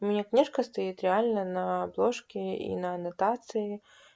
у меня книжка стоит реально на обложке и на аннотации